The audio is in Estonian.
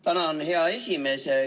Tänan, hea esimees!